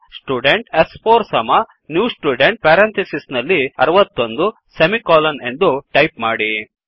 student ಸ್4 ಸಮ new student 160 ಎಂದು ಟೈಪ್ ಮಾಡಿ